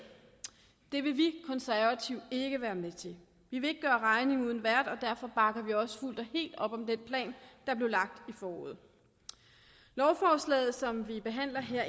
det vil vi konservative ikke være med til vi vil ikke gøre regning uden vært og derfor bakker vi også fuldt og helt op om den plan der blev lagt i foråret lovforslaget som vi behandler her